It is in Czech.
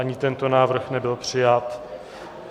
Ani tento návrh nebyl přijat.